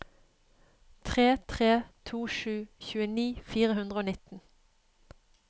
tre tre to sju tjueni fire hundre og nitten